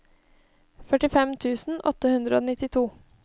førtifem tusen åtte hundre og nittito